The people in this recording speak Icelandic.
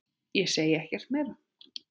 Ég segi ekkert meira.